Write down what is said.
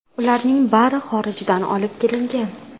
Ularning bari xorijdan olib kelingan.